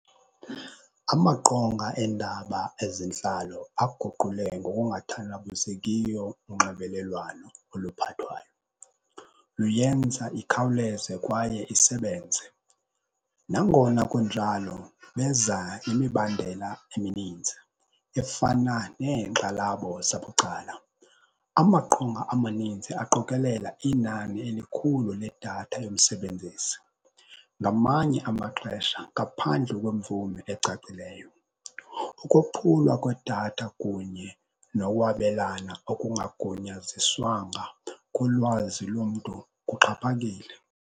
Amaqonga endaba ezentlalo aguqule ngokungathandabuzekiyo unxibelelwano oluphathwayo, luyenza ikhawuleze kwaye isebenze. Nangona kunjalo beza nemibandela emininzi efana neenkxalabo zabucala. Amaqonga amaninzi aqokelela inani elikhulu ledatha yomsebenzisi ngamanye amaxesha ngaphandle kwemvume ecacileyo. Ukophulwa kwedatha kunye nowabelana okungagunyaziswanga kulwazi lomntu kuxhaphakile.